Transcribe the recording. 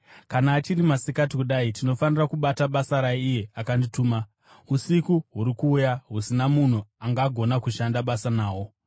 Kana achiri masikati kudai, tinofanira kubata basa raiye akandituma. Usiku huri kuuya, husina munhu angagona kushanda basa nahwo.